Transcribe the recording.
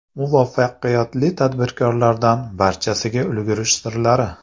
Muvaffaqiyatli tadbirkorlardan barchasiga ulgurish sirlari.